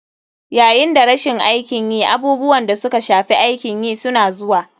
Yayin da rashin aikin yi, abubuwan da suka shafi aikin yi suna zuwa.